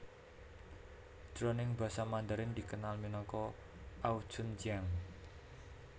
Jroning basa Mandarin dikenal minangka ao chun jiang